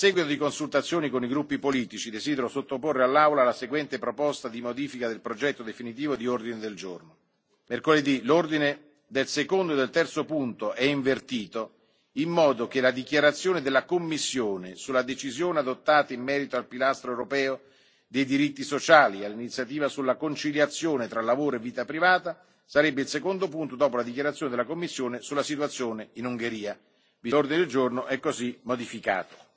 A seguito di consultazioni con i gruppi politici, desidero sottoporre all'Aula la seguente proposta di modifica del progetto definitivo di ordine del giorno Mercoledì L'ordine del secondo e del terzo punto è invertito in modo che la dichiarazione della Commissione sulla decisione adottata in merito al pilastro europeo dei diritti sociali e all'iniziativa sulla conciliazione tra lavoro e vita privata sarebbe il secondo punto dopo la dichiarazione della Commissione sulla situazione in Ungheria. L'ordine del giorno è così modificato.